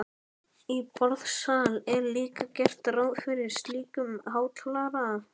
Í borðsal er líka gert ráð fyrir slíkum hátalara.